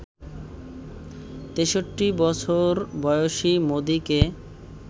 ৬৩ বছর বয়সী মোদিকে